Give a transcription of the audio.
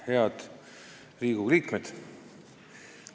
Head Riigikogu liikmed!